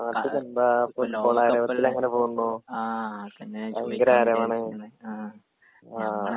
നാട്ടിലെന്താ അങ്ങനെ പോകുന്നു ഭയങ്കര ആരവാണ് ആ